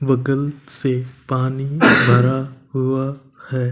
बोतल से पानी भरा हुआ है।